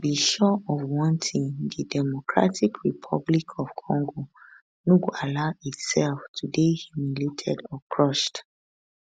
be sure of one thing di democratic republic of congo no go allow itself to dey humiliated or crushed